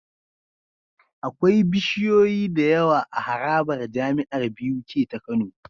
Akwai bishiyoyi da yawa a harabar jamiar Buk ta kano